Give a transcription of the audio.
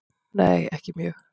Nei ekki mjög.